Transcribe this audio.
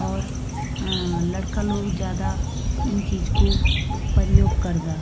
और अ लड़का लोग जादा इं चीज कु पर्योग करदा।